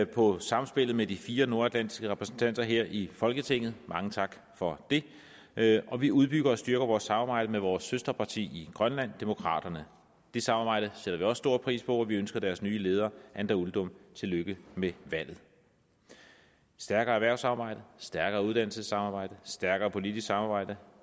på samspillet med de fire nordatlantiske repræsentanter her i folketinget mange tak for det og vi udbygger og styrker vores samarbejde med vores søsterparti i grønland demokraterne det samarbejde sætter stor pris på og vi ønsker deres nye leder anda uldum tillykke med valget stærkere erhvervssamarbejde stærkere uddannelsessamarbejde stærkere politisk samarbejde